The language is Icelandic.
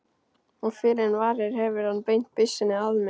Og fyrr en varir hefur hann beint byssunni að mér.